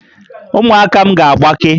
Ụmụaka m ga-agbake